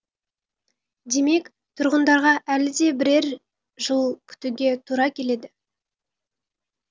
демек тұрғындарға әлі де бірер жыл күтуге тура келеді